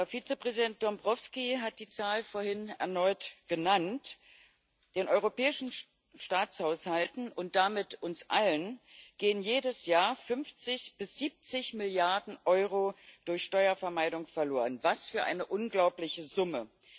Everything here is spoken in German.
Vizepräsident Dombrovskis hat die Zahl vorhin erneut genannt Den europäischen Staatshaushalten und damit uns allen gehen jedes Jahr 50 bis 70 Milliarden Euro durch Steuervermeidung verloren. Was für eine unglaubliche Summe!